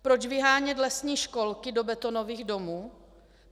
Proč vyhánět lesní školky do betonových domů?